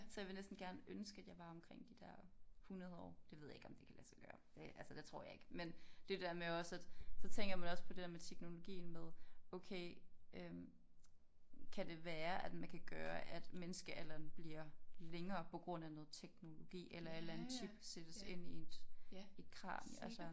Så jeg vil næsten gerne ønske at jeg var omkring de der 100 år det ved jeg ikke om det kan lade sig gøre det altså det tror jeg ikke men det jo det der med også at så tænker man også på det der med teknologien med okay øh kan det være at man kan gøre at menneskealderen bliver længere på grund af noget teknologi eller en eller anden chip sættes ind i et et kranie altså